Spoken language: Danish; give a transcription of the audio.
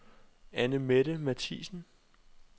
Anne-Mette Mathiesen